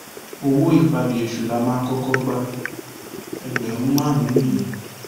owó ìpabí èṣù la máa ń kọkọ gba ẹgbẹrún márùnún nìyẹn